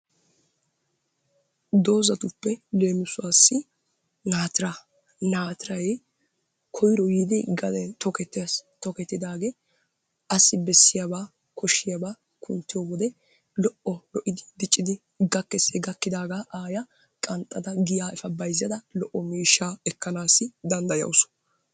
Doozatuppe leemisuwassi naatira, naatiray koyro yiidi gadena tokketees, tokketidaagee assi bessiyaaba koshshiyaaba kunttiyo wode lo''o diccidi gakkees. He gakkida aayya qanxxada giya efa bayzzada miishsha ekkanassi danddayawus.